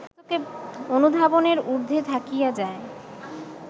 অনুধাবনের ঊর্ধ্বে থাকিয়া যায়